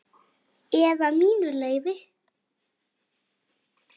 Eða mínu leyfi.